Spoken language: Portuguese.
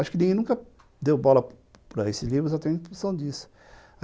Acho que ninguém nunca deu bola para esses livros, eu tenho a impressão disso.